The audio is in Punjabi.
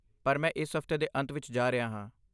ਪਰ ਮੈਂ ਇਸ ਹਫਤੇ ਦੇ ਅੰਤ ਵਿੱਚ ਜਾ ਰਿਹਾ ਹਾਂ।